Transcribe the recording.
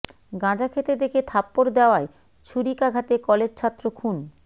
গাঁজা খেতে দেখে থাপ্পর দেয়ায় ছুরিকাঘাতে কলেজ ছাত্র খুন